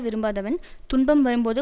விரும்பாதவன் துன்பம் வரும்போது